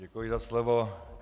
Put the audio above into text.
Děkuji za slovo.